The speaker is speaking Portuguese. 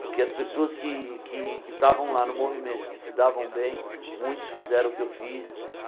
Porque as pessoas que que que estavam lá no movimento, que se davam bem, muitos fizeram o que eu fiz.